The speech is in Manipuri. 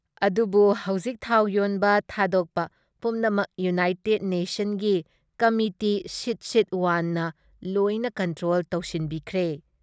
ꯑꯗꯨꯕꯨ ꯍꯧꯖꯤꯛ ꯊꯥꯎ ꯌꯣꯟꯕ ꯊꯥꯗꯣꯛꯄ ꯄꯨꯝꯅꯃꯛ ꯌꯨꯅꯥꯏꯇꯦꯠ ꯅꯦꯁꯟꯀꯤ ꯀꯃꯤꯇꯤ ꯁꯤꯠ ꯁꯤꯠ ꯋꯥꯟꯅ ꯂꯣꯏꯅ ꯀꯟꯇ꯭ꯔꯣꯜ ꯇꯧꯁꯤꯟꯕꯤꯈ꯭ꯔꯦ ꯫